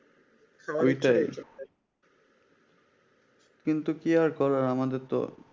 কিন্তু কি আর করবেন আমাদের তো